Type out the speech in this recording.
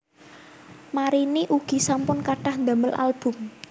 Marini ugi sampun kathah ndamel album